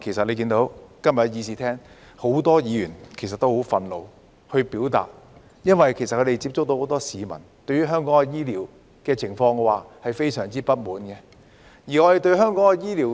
例如今天的會議廳裏，很多議員都很憤怒，表達很多意見，因為他們接觸到的很多市民對香港的醫療非常不滿。